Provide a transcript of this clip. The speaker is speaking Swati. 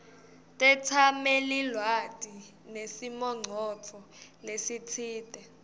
tetsamelilwati nesimongcondvo lesitsite